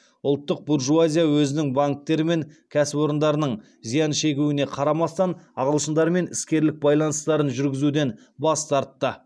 ұлттық буржуазия өзінің банктері мен кәсіпорындарының зиян шегуіне қарамастан ағылшындармен іскерлік байланыстарын жүргізуден бас тартты